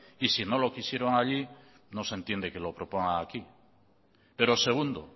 y si no lo quisieron allí no se entiende que lo proponga aquí pero segundo